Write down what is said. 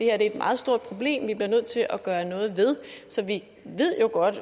er et meget stort problem som vi bliver nødt til at gøre noget ved så vi ved jo godt